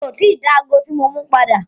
Mi o ti dá ago tí mo mú padà.